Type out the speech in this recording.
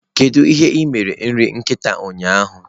Kedu ihe ị mere nri nkịta ụnyaahụ?